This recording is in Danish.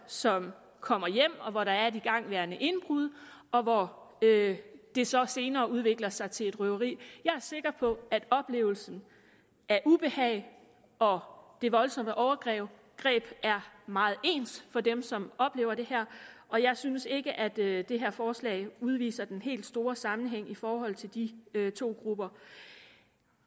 som kommer hjem hvor der er et igangværende indbrud og hvor det så senere udvikler sig til et røveri jeg er sikker på at oplevelsen af ubehag og det voldsomme overgreb er meget ens for dem som oplever det her og jeg synes ikke at det det her forslag udviser den helt store sammenhæng i forhold til de to grupper